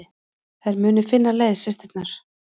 Þær muni finna leið, systurnar.